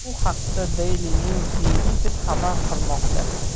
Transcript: Bu haqda Daily News Egypt xabar qilmoqda .